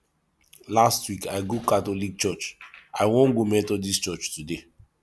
last week i go catholic church i wan go methodist today